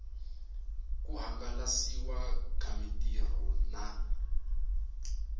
ku hangalasiwa ka mitirho na